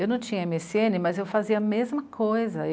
Eu não tinha eme esse ene, mas eu fazia a mesma coisa.